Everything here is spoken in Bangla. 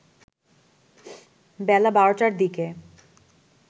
বেলা ১২টার দিকে